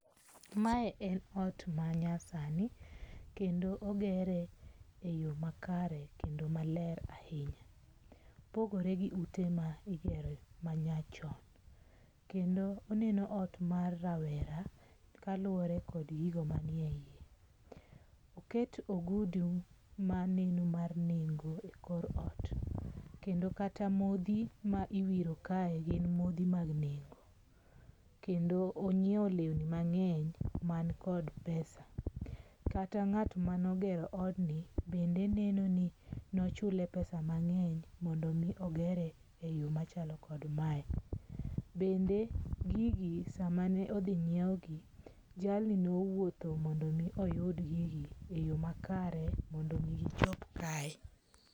Mae en ot manyasani, kendo ogere e yo makare kendo maler ahinya, opogore gi ute ma igere ma nyachon, kendo oneno ot marawera kaluwore kod gigo manie iye, oket ogudu maneno mar nengo e kor ot, kendo kata mothi ma iwiro kae gin mothi mag nengo, kendo onyiewo lewni mangeny man kod pesa, kata ngat mano ogero odni bende neno ni nochule pesa mange'ny mondo mi ogere e yo machalo kod mae, bende gigi samane othi nyiewgi jalni nouotho mondo mi oyud gigi e yo makare mondo mi gichop kae.